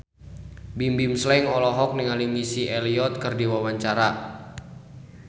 Bimbim Slank olohok ningali Missy Elliott keur diwawancara